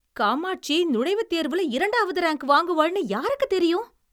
காமாட்சி நுழைவுத் தேர்வுல இரண்டாவது ரேங்க் வாங்குவாள்னு யாருக்குத் தெரியும்?